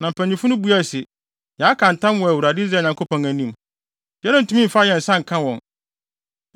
Na mpanyimfo no buae se, “Yɛaka ntam wɔ Awurade, Israel Nyankopɔn anim. Yɛrentumi mfa yɛn nsa nka wɔn.